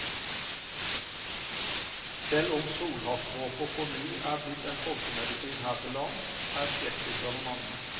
Selv om solhattdråper på ny er blitt en folkemedisin her til lands, er skeptikerne mange.